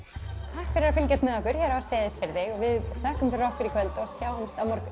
takk fyrir að fylgjast með okkur hér á Seyðisfirði við þökkum fyrir okkur í kvöld og sjáumst á morgun